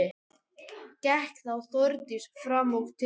Gekk þá Þórdís fram og til